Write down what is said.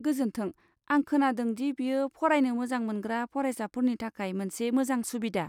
गोजोन्थों, आं खोनादों दि बेयो फरायनो मोजां मोनग्रा फरायसाफोरनि थाखाय मोनसे मोजां सुबिदा।